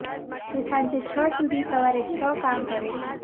તે સાંજે છ સુધી સવારે છ કામ કરે છે